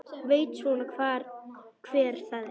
Veit svona hver það er.